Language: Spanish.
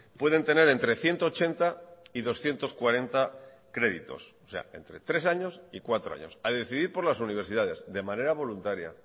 pueden tener entre ciento ochenta y doscientos cuarenta créditos o sea entre tres años y cuatro años a decidir por las universidades de manera voluntaria